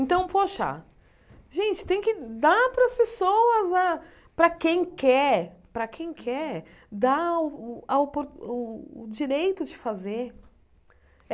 Então, poxa, gente, tem que dar para as pessoas a, para quem quer, para quem quer, dar a o a opor o o direito de fazer.